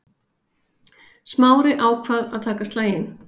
Smári ákvað að taka slaginn.